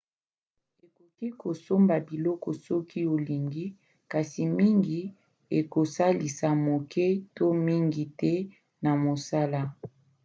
ekoki kosomba biloko soki olingi kasi mingi ekosalisa moke to mingi te na mosala